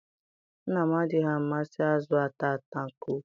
Nna m adịghị amasị azụ ata ata nke ukwuu.